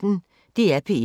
DR P1